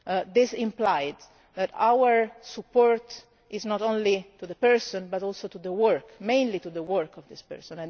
ago. This implied that our support is not only to the person, but also to the work, mainly to the work of this